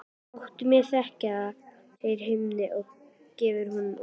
Láttu mig þekkja það, segir Hemmi og gefur honum olnbogaskot.